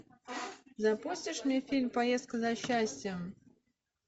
запустишь мне фильм поездка за счастьем